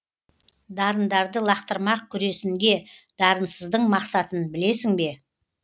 дарындарды лақтырмақ күресінге дарынсыздың мақсатын білесің бе